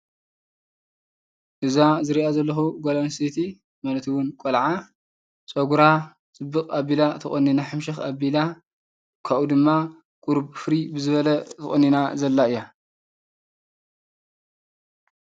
እዛ ዝሪኣ ዘለኹ ጓል ኣንስተይቲ ማለት እውን ቆልዓ ፀጉራ ኣፅብቕ ኣቢላ ተቖኒና፤ ሕምሽኽ ኣቢላ ካብኡ ድማ ቅሩብ ፍርይ ብዝበለ ተቖኒና ዘላ እያ።